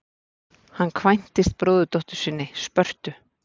Hann kvæntist bróðurdóttur sinni, Spörtu.